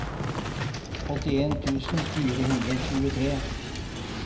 åttien tusen fire hundre og tjuetre